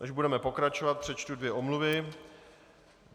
Než budeme pokračovat, přečtu dvě omluvy.